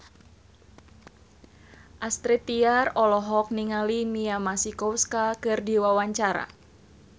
Astrid Tiar olohok ningali Mia Masikowska keur diwawancara